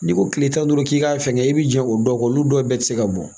N'i ko kile tan ni duuru k'i ka fɛngɛ i bi jan o dɔw kɔ olu dɔw bɛɛ ti se ka bɔ